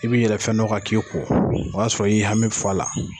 I bɛ yɛlɛ fɛn dɔ kan k'i kɔ, o b'a sɔrɔ i y'i hami fɔ a la.